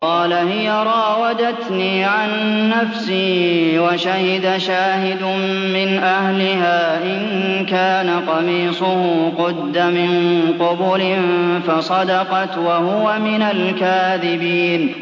قَالَ هِيَ رَاوَدَتْنِي عَن نَّفْسِي ۚ وَشَهِدَ شَاهِدٌ مِّنْ أَهْلِهَا إِن كَانَ قَمِيصُهُ قُدَّ مِن قُبُلٍ فَصَدَقَتْ وَهُوَ مِنَ الْكَاذِبِينَ